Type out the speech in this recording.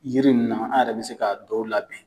Yiri ninnu na an yɛrɛ bɛ se ka dɔw labɛn.